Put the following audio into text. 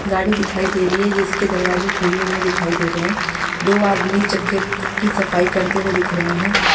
गाड़ी दिखाई दे रही है जिसके दरवाजे खुले हुए दिखाई दे रहे हैं दो आदमी चक्के की सफाई करते हुए दिख रहे हैं ।